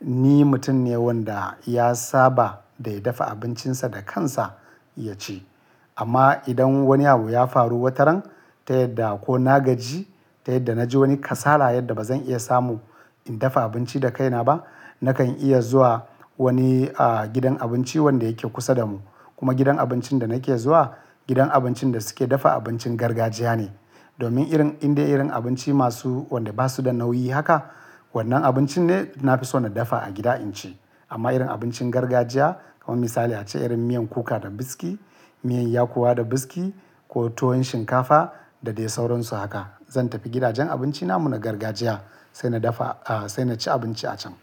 Ni mutum ne wanda ya saba da ya dafa abincinsa da kansa ya ci. Amma idan wani abu ya faru wataran ta yadda ko na gaji ta yadda na ji wani kasala yadda ba zan iya samu in dafa abinci da kaina ba, nakan iya zuwa wani, a, gidan abinci wanda yake kusa da mu. Kuma gidan abincin da nake zuwa, gidan abincin da suke dafa abincin gargajiya ne. Domin irin, inde irin abinci masu, wanda ba su da nauyi haka, wannan abincin ne na fi so na dafa a gida in ci. Amma irin abincin gargajiya, kamar misali ace irin miyan kuka da biski miyan yakuwa da biski ko tuwon shinkafa da dai sauransu haka, zan tafi gidajen abinci namu na gargajiya sai na dafa, a, sai na ci abinci a can.